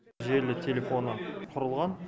желілік телефоны құрылған